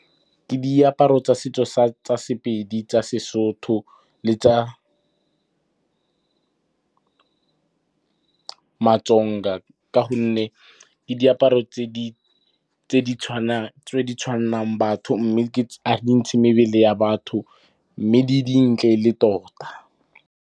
Ke diaparo tsa setso sa tsa Sepedi, tsa Sesotho le tsa Matsonga ka gonne ke diaparo tse di tshwannang batho, mme a di ntshe mebele ya batho, mme di dintle e le tota.